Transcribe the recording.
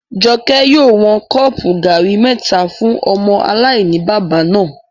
Jọkẹ́ yóò wọn kọ́ọ̀pù gàrí mẹ́ta fún ọmọ aláìní-baba náà